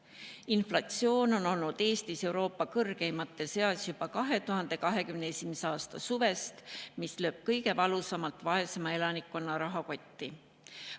Meie inflatsioon on olnud Eestis Euroopa kõrgeimate seas juba 2021. aasta suvest, mis lööb kõige valusamalt vaesema elanikkonna rahakotti.